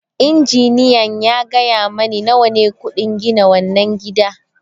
Injiniyan ya gaya mani nawa ne kudin gina wannan gida.